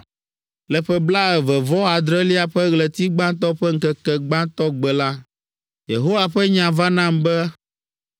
Le ƒe blaeve-vɔ-adrelia ƒe ɣleti gbãtɔ ƒe ŋkeke gbãtɔ gbe la, Yehowa ƒe nya va nam be,